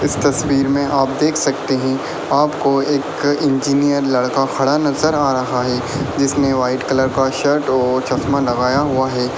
इस तस्वीर में आप देख सकते हैं आपको एक इंजीनियर लड़का खड़ा नजर आ रहा है जिसने वाइट कलर का शर्ट और चश्मा लगाया हुआ है।